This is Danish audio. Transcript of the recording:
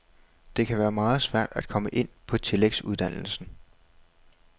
Det kan være meget svært at komme ind på tillægsuddannelsen.